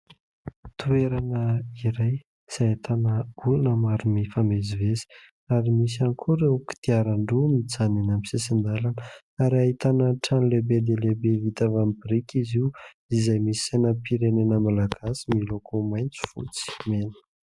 Toerana iray izay ahitana olona maro mifamezivezy ary misy ihany koa ireo kodiaran-droa mijanona eny amin'ny sisin-dalana ary ahitana trano lehibe dia lehibe vita avy amin'ny biriky izy io izay misy sainam-pirenena Malagasy miloko maitso, fotsy, mena.